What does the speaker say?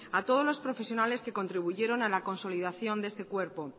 a todos los profesionales que contribuyeron a la consolidación de este cuerpo